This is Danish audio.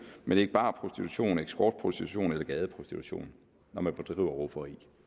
men ikke barprostitution escortprostitution eller gadeprostitution når man bedriver rufferi